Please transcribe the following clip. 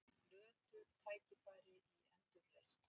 Glötuð tækifæri í endurreisn